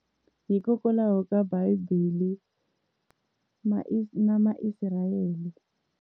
Hikokwalaho ka bible na Ma israel.